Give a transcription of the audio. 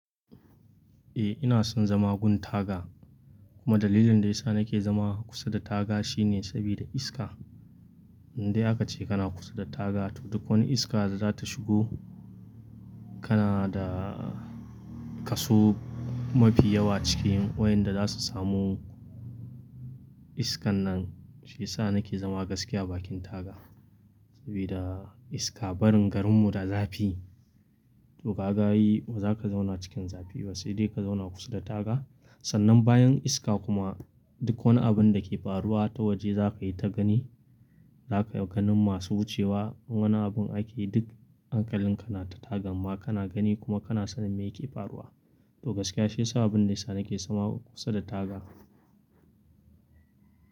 Eh ina son zama gun taga kuma dalilin da yasa nake zama kusa da taga shine sabida iska. Dai akace kana kusa da taga to duk wani iska da za ta shigo kana da kaso mafi yawa cikin wayanda zasu samu iskan nan. Shiyasa nake zama gaskiya a bakin taga sabida iska barin garin mu da zafi to kaga ai bazaka zauna cikin zafi ba sai dai kazauna kusa da taga. Sannan bayan iska kuma duk wani abun dake faruwa ta waje zakayi ta gani. Da iya ganin masu wuce wa in wani abun ake yi duk hankalin ka na ta tagan ma kana gani kuma kana sanin meyake faruwa to gaskiya shi sa abin da yasa nake zama kusa da taga.